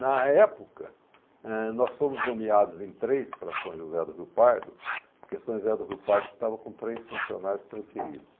Na época, ãh, nós fomos nomeados em três para São José do Rio Pardo, porque São José do Rio Pardo estava com três funcionários transferidos.